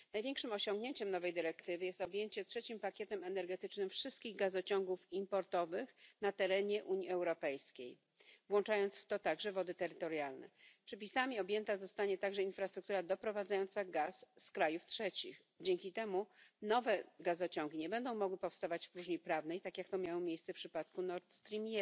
Największym osiągnięciem nowej dyrektywy jest objęcie trzecim pakietem energetycznym wszystkich gazociągów importowych na terenie Unii Europejskiej, także na wodach terytorialnych. Przepisami objęta zostanie także infrastruktura doprowadzająca gaz z krajów trzecich, dzięki temu nowe gazociągi nie będą mogły powstawać w próżni prawnej, tak jak to miało miejsce w przypadku Nord Stream